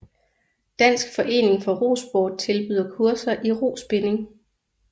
Dansk Forening for Rosport tilbyder kurser i Rospinning